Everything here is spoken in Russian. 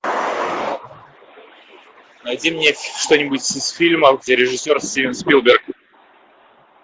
найди мне что нибудь из фильмов где режиссер стивен спилберг